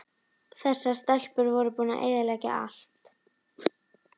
Þessar stelpur voru búnar að eyðileggja allt!